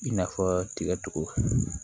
I n'a fɔ tigɛ cogo